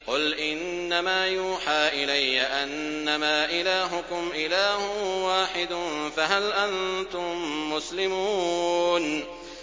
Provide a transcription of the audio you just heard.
قُلْ إِنَّمَا يُوحَىٰ إِلَيَّ أَنَّمَا إِلَٰهُكُمْ إِلَٰهٌ وَاحِدٌ ۖ فَهَلْ أَنتُم مُّسْلِمُونَ